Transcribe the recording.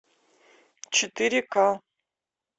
четыре ка